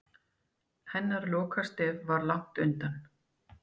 Hennar lokastef var langt undan.